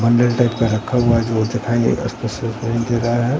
मंदिर टाइप का रखा हुआ है जो है।